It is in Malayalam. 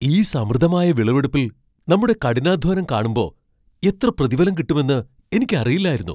ഈ സമൃദ്ധമായ വിളവെടുപ്പിൽ നമ്മുടെ കഠിനാധ്വാനം കാണുമ്പോ എത്ര പ്രതിഫലം കിട്ടുമെന്ന് എനിക്ക് അറിയില്ലായിരുന്നു.